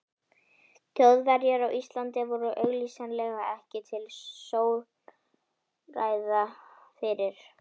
Þjóðverjar á Íslandi voru augsýnilega ekki til stórræða fyrir